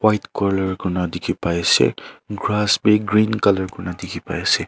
white colour koina dikhi pai ase grass bhi green colour koina dikhi pai ase.